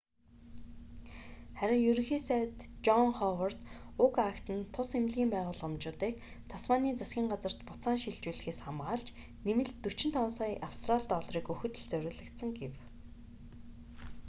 харин ерөнхий сайд жон ховард уг акт нь тус эмнэлгийн байгууламжуудыг тасманийн засгийн газарт буцаан шилжүүлэхээс хамгаалж нэмэлт 45 сая австрали долларыг өгөхөд л зориулагдсан гэв